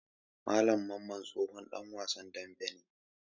Malam Mamman tsohon ɗan wasan daɓe ne.